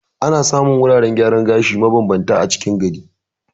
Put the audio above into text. Ana samun wuraren gyaran gashi ma bambanta a cikin gari.